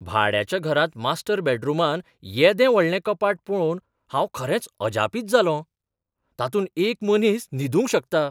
भाड्याच्या घरांत मास्टर बॅडरुमांत येदें व्हडलें कपाट पळोवन हांव खरेंच अजापीत जालों, तातूंत एक मनीस न्हिदूंक शकता.